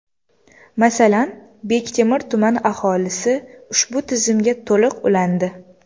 Masalan, Bektemir tumani aholisi ushbu tizimga to‘liq ulandi.